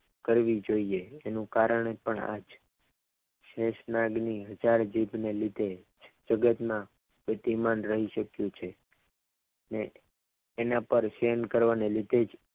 કરવી જોઈએ તેનું કારણ પણ આ જ શેષનાગની ચાર જીભને લીધે જગતના ગતિમાન રહી શક્યું છે ને એના પર ફેમ કરવાની લીધે જ